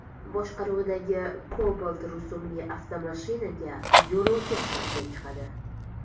boshqaruvidagi Cobalt rusumli avtomashinaga yo‘lovchi sifatida chiqadi.